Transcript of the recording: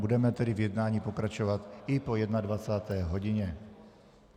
Budeme tedy v jednání pokračovat i po 21. hodině.